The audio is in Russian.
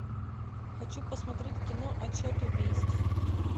хочу посмотреть кино отсчет убийств